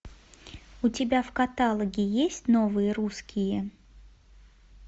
у тебя в каталоге есть новые русские